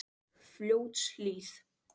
Fljótshlíð